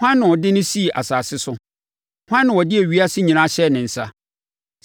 Hwan na ɔde no sii asase so? Hwan na ɔde ewiase nyinaa hyɛɛ ne nsa?